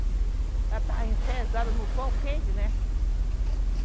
Ela está enfezada no sol quente, né?